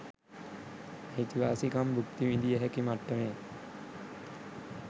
අයිතිවාසිකම් භුක්ති විඳිය හැකි මට්ටමේ